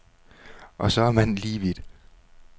Og så er man lige vidt.